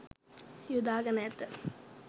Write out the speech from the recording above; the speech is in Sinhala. යොදාගෙන ඇත.